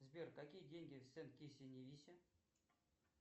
сбер какие деньги